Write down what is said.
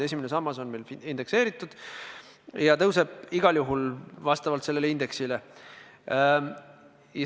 Esimene sammas on meil indekseeritud ja see summa tõuseb igal juhul vastavalt sellele indeksile.